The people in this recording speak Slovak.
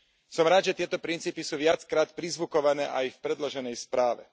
Som rád, že tieto princípy sú viackrát prízvukované aj v predloženej správe.